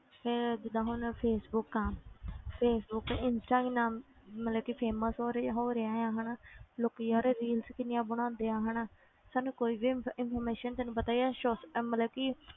ਫਿਰ ਜਿੱਦਾਂ ਹੁਣ ਫੇਸਬੁਕ ਆ ਫੇਸਬੁਕ ਇੰਸਟਾ ਕਿੰਨਾ ਮਤਲਬ ਕਿ famous ਹੋ ਰਿਹਾ ਹੋ ਰਿਹਾ ਹੈ ਹਨਾ ਲੋਕੀ ਯਾਰ reels ਕਿੰਨੀਆਂ ਬਣਾਉਂਦੇ ਆ ਹਨਾ ਸਾਨੂੰ ਕੋਈ ਵੀ info~ information ਤੈਨੂੰ ਪਤਾ ਹੀ ਹੈ soc~ ਇਹ ਮਤਲਬ ਕਿ